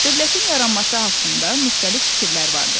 Dövlətin yaranması haqqında müxtəlif fikirlər vardır.